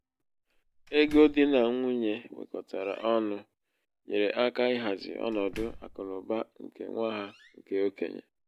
ego di nà nwunye wekọtara ọnụ nyere áká ịhazi ọnọdụ akụnaụba nke nwa ha nke okenye.